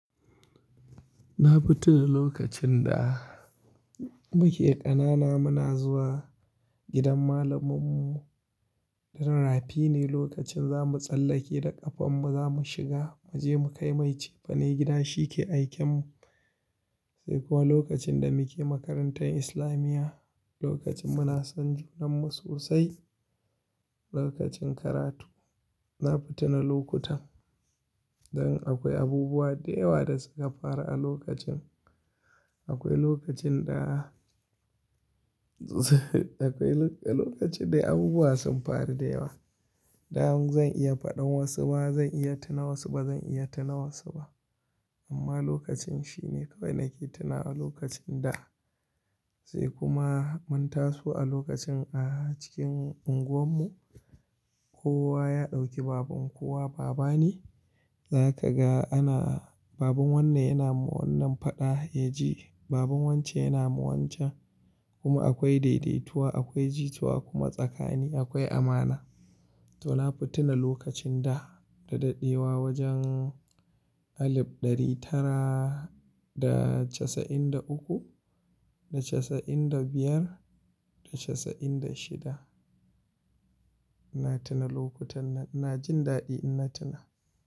Na fi tuna lokacin da muke ƙanana muna zuwa gidan malaminmu. Dan rafi ne lokacin za mu tsallake da ƙafanmu za mu shiga, mu je mu kai mai cefane gida shi ke aiken mu. Sai kuwa lokacin da muke makarantar islamiya, lokacin muna son junan mu sosai, lokacin karatu. Na fi tuna lokutan, dan akwai abubuwa da yawa da suka faru a lokacin. Akwai lokacin da akwai lokacin, lokacin dai abubuwa sun faru da yawa. Dan zan iya faɗan wasu ba zan iya tuna wasu ba zan iya tuna wasu ba. Amma lokacin shi ne kawai nake tuna a lokacin da. Sai kuma mun taso a lokacin a cikin unguwan mu kowa ya ɗauki baban kowa baba ne. Za ka ga ana baban wannan yana yi wa wannan faɗa yaji, baban wance yana ma wancan kuma akwai daidaituwa, akwai jitowa kuma tsakani akwai amana. To na futa na lokacin da daɗaɗewa wajen alif ɗari tara da casa'in da uku da casa'in da biyar da casa'in da shida. Na tuna lokutan nan, ina jin daɗi ina tuna.